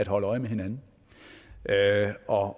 holde øje med hinanden og